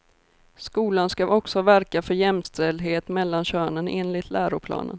Skolan ska också verka för jämställdhet mellan könen enligt läroplanen.